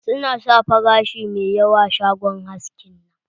Su na sa farashi mai yawa a shagon haskin nan.